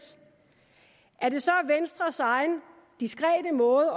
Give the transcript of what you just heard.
er det så venstres egen diskrete måde